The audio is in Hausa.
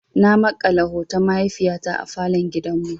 Na makala hoton mahaifiyata a falon gidan mu.